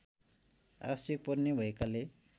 आवश्यक पर्ने भएकाले